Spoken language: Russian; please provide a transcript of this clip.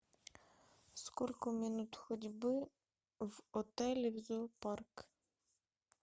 сколько минут ходьбы в отеле в зоопарк